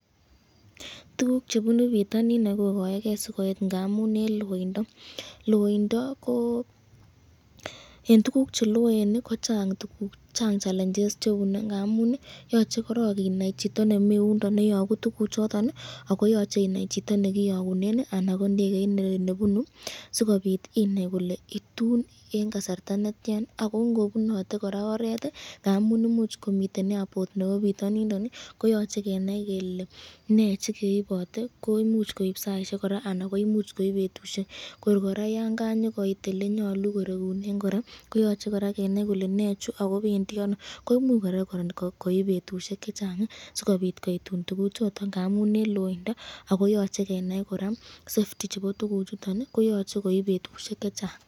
Tukuk chebunu bitonin kokoekee sikoit ng'amun en loindo, loindo ko en tukuk cheloen kochang tukuk chang challenges chebune ng'amun yoche korong inai chito nemiyundon neyoku tukuchoton ak ko yoche inaii chito nekiyokunen anan ko ndekeit nebunu sikobiit inai ilee ituun en kasarta netian ak ko ng'obunote kora oreet ng'amun imuch komiten airport nebo bitonindon koyoche kenai kelee nee chekeibote koimuch koib saishek kora anan koimuch koib betushek, kor kora yoon kakoit elenyolu korekunen kora koyoche kora kenai kelee nechuu ak ko bendii anoo koimuch kora koib betushek chechang sikobiit koitun tukuchoton ng'amun en loindo ak koyoche kora kenai safety chebo tukuchuton koyoche koib betushek chechang.